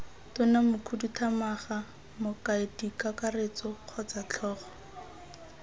tona mokhuduthamaga mokaedikakaretso kgotsa tlhogo